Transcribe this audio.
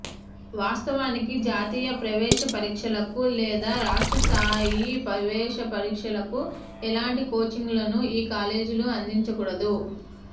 వాస్తవానికి జాతీయ ప్రవేశపరీక్షలకు లేదా రాష్ట్ర స్థాయి ప్రవేశపరీక్షలకు ఎలాంటి కోచింగ్లనూ ఈ కాలేజీలు అందించకూడదు